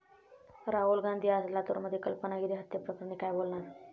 राहुल गांधी आज लातूरमध्ये, कल्पना गिरी हत्येप्रकरणी काय बोलणार?